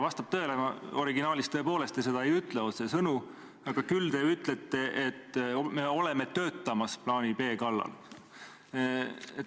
Vastab tõele, originaalis tõepoolest te seda otsesõnu ei ütle, küll aga ütlete, et me oleme töötamas plaani B kallal.